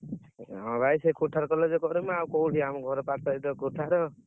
ହଁ ଭାଇ ସେ କୋଥାଳ college ରେ କରିବି ଆଉ କୋଉଠି ଆମ ଘର ପାଖରେ ତ କୋଥାଳ।